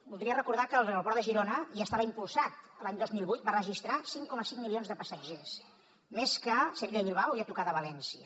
voldria recordar que l’aeroport de girona ja estava impulsat l’any dos mil vuit va registrar cinc coma cinc milions de passatgers més que sevilla i bilbao i a tocar de valència